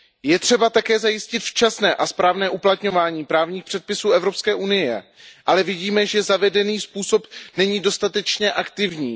Je třeba také zajistit včasné a správné uplatňování právních předpisů Evropské unie, ale vidíme, že zavedený způsob není dostatečně aktivní.